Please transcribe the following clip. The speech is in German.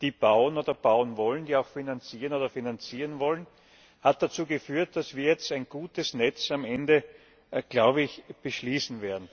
die bauen oder bauen wollen, die auch finanzieren oder finanzieren wollen haben dazu geführt, dass wir jetzt am Ende ein gutes Netz beschließen werden.